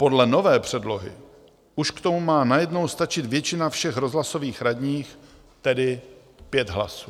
Podle nové předlohy už k tomu má najednou stačit většina všech rozhlasových radních, tedy 5 hlasů.